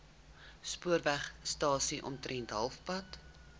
spoorwegstasie omtrent halfpad